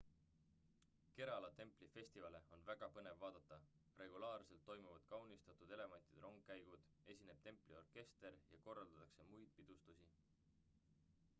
kerala templi festivale on väga põnev vaadata regulaarselt toimuvad kaunistatud elevantide rongkäigud esineb templi orkester ja korraldatakse muid pidustusi